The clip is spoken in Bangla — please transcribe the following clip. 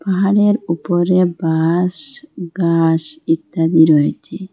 পাহাড়ের উপরে বাঁশ ঘাস ইত্যাদি রয়েচে।